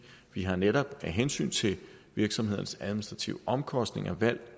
vi har netop af hensyn til virksomhedernes administrative omkostninger valgt